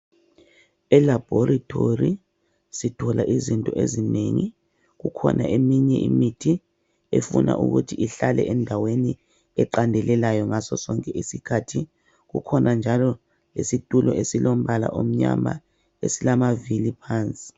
Elabhorethori sithola izinto ezinengi, kukhona eminye imithi efuna ukuthi ihlale endaweni eqandelelayo ngaso sonke isikhathi, kukhona njalo isitulo esilombala omnyama esilamavili phansi.